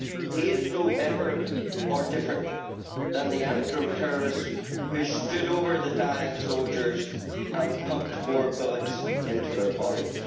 He is no better than or different to the Antrim terrorists who stood over the dying soldiers and pumped more bullets into their bodies.